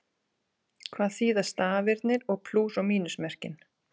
Hvað þýða stafirnir og plús- og mínusmerkin?